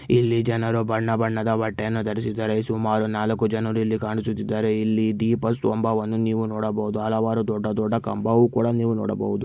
ಇಲ್ಲಿ ಜನರು ಬಣ್ಣ ಬಣ್ಣದ ಬಟ್ಟೆಯನ್ನು ಧರಿಸಿದ್ದಾರೆ. ಸುಮಾರು ನಾಲ್ಕು ಜನರು ಇಲ್ಲಿ ಕಾಣಿಸುತ್ತಿದ್ದಾರೆ. ಇಲ್ಲಿ ದ್ವೀಪ ಸ್ವಂಬವನ್ನು ನೀವು ನೋಡಬಹುದು ಹಲವಾರು ದೊಡ್ಡ ದೊಡ್ಡ ಕಂಬವೂ ಕೂಡ ನೀವು ನೋಡಬಹುದು.